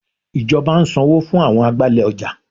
Ìjọba ń sanwó fún àwọn agbálẹ̀ ọjà.